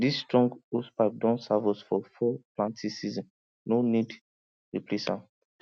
this strong hosepipe don serve us for four planting seasonsno need replace am